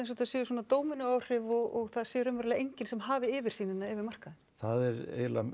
þetta séu svona dómínó áhrif og það sé raunverulega enginn sem hafi yfirsýnina yfir markaðinn það er eiginlega